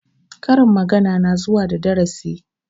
Karin magana na zuwa da darasi